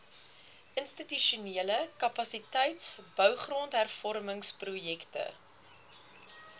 institusionele kapasiteitsbou grondhervormingsprojekte